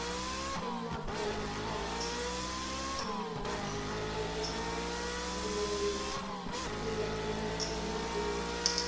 emabhokathi timphahla letentiwele kuya emicimbini